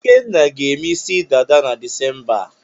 Ikenna ga-eme isi dada na Disemba a.